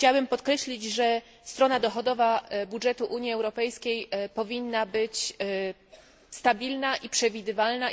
Chciałabym podkreślić, że strona dochodowa budżetu Unii Europejskiej powinna być stabilna i przewidywalna.